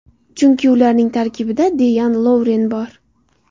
Chunki ularning tarkibida Deyan Lovren bor.